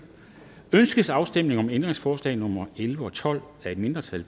ønskes afstemning om ændringsforslag nummer elleve og tolv af et mindretal